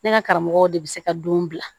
Ne ka karamɔgɔw de bi se ka don bila